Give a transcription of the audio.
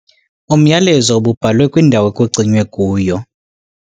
Umyalezo ububhalwe kwindawo ekucinywe kuyo.